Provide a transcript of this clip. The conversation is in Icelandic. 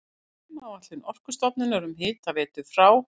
Frumáætlun Orkustofnunar um hitaveitu frá